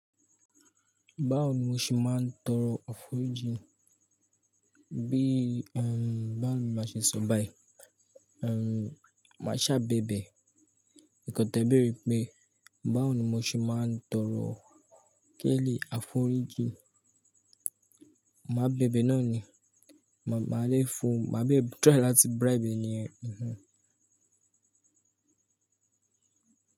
Báwo ni mo ṣe máa ń tọrọ àforíjìn? Bí, ẹm, báwo ni màá ṣe sọ báyìí? Ehn, màá ṣàbẹ̀bẹ̀ ẹ̀kọ̀tẹ̀ béèrè pé báwo ni mo ṣe máa ń tọrọ kẹ́ẹ̀lì àforíjìn. Màá bẹ̀bẹ̀ náà ni, màá ma lé fo, màá tirai láti bribe eniyen.